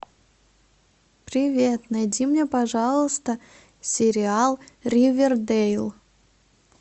привет найди мне пожалуйста сериал ривердейл